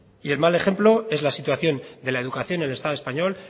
bai y el mal ejemplo es la situación de la educación en el estado español